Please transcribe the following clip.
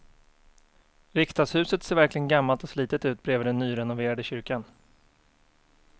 Riksdagshuset ser verkligen gammalt och slitet ut bredvid den nyrenoverade kyrkan.